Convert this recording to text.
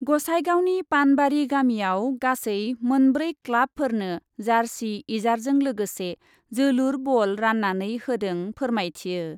गसाइगावनि पानबारि गामियाव गासै मोनब्रै क्लाबफोरनो जारसि इजारजों लोगोसे जोलुर बल रान्नानै होदों फोरमाथियो ।